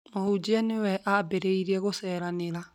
Mũhunjia nĩwe aambĩrĩirie gũceeranera